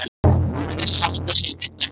Hún virðist sætta sig við þau málalok.